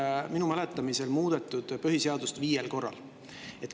Eestis on minu mäletamist mööda põhiseadust muudetud viiel korral.